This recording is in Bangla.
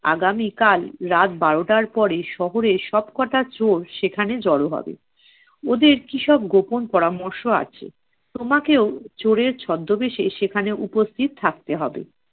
আগামীকাল রাত বারোটার পরে শহরের সবকটা চোর সেখানে জড়ো হবে। ওদের কিসব গোপন পরামর্শ আছে। তোমাকেও চোরের ছদ্দবেশে সেখানে উপস্থিত থাকতে হবে।